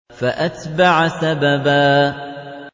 فَأَتْبَعَ سَبَبًا